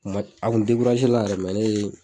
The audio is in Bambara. a kun la yɛrɛ ne ye